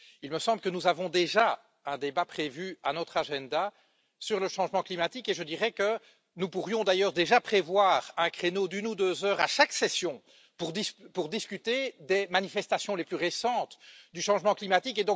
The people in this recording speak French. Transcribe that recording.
Il me semble que nous avons déjà un débat prévu à notre agenda sur le changement climatique et je dirais que nous pourrions d'ailleurs déjà prévoir un créneau d'une ou deux heures à chaque session pour discuter des manifestations les plus récentes du changement climatique.